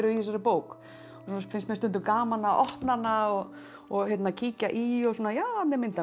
í þessari bók svo finnst mér stundum gaman að opna hana og og kíkja í já þarna er mynd af